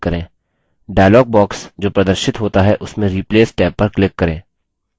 dialog box जो प्रदर्शित होता है उसमें replace टैब पर click करें